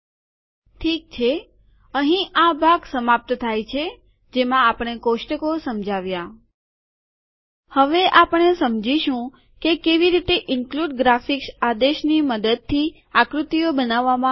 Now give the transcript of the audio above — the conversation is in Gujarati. ઠીક છે અહીં આ ભાગ સમાપ્ત થાય છે જેમાં આપણે કોષ્ટકો સમજાવ્યા હવે આપણે સમજાવીશું કે કેવી રીતે ઇન્ક્લુદ ગ્રાફિક્સ આદેશની મદદથી આકૃતિઓ બનાવવામાં આવે છે